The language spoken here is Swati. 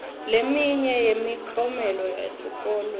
leminye yemiklomelo yesesikolweni